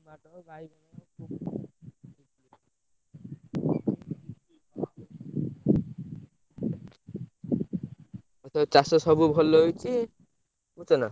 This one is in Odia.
ଟମାଟର ବାଇଗଣ ଏଥର ଚାଷ ସବୁ ଭଲ ହେଇଛି ବୁଝୁଛନା?